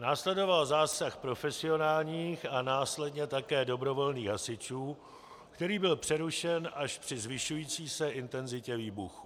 Následoval zásah profesionálních a následně také dobrovolných hasičů, který byl přerušen až při zvyšující se intenzitě výbuchů.